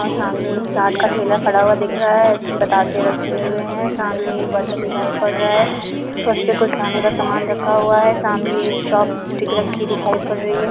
सामने एक चाट का ठेला खड़ा हुआ दिख रहा है इसमें बतासे रखें हुए हैं। सामने एक बर्तन दिखाई पड़ रहा है उसपे कुछ खाने का सामान रखा हुआ है। सामने एक चॉप-स्टिक रखी हुई दिखाई पड़ रही है।